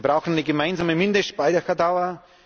Wir brauchen eine gemeinsame Mindestspeicherdauer.